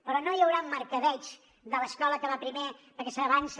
però no hi haurà el mercadeig de l’escola que va primer perquè s’avança